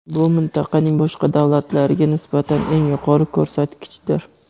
bu mintaqaning boshqa davlatlariga nisbatan eng yuqori ko‘rsatkichdir.